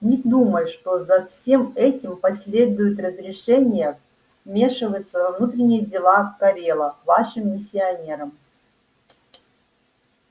не думай что за всем этим последует разрешение вмешиваться во внутренние дела корела вашим миссионерам